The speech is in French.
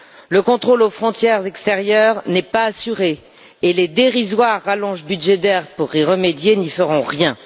Le contrôle aux frontières extérieures n'est pas assuré et les dérisoires rallonges budgétaires pour y remédier n'y feront rien.